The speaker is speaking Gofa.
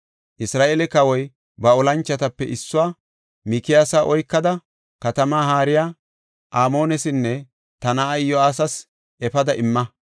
Isra7eele kawoy ba olanchotape issuwa, “Mikiyaasa oykada katama haariya Amoonesinne ta na7aa Iyo7aasas efada imma.